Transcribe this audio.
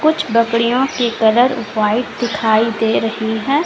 बकरियों के colour white दिखाई दे रही है।